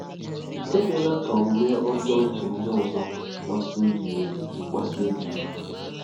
Ekwela ka omume ọjọọ nke ndị ọzọ kpasuo gị iwe. kpasuo gị iwe.